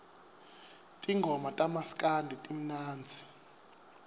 tingoma tamaskandi timnandzi